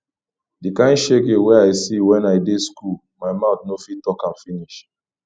di kain shege wey i see wen i dey skool my mout no fit talk am finish